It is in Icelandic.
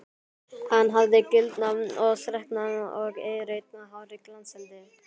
Hann hafði gildnað og þreknað og eirrautt hárið glansaði.